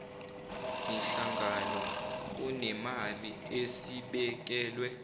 mihlangano kunemali esibekelwe